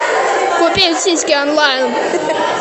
купить сиськи онлайн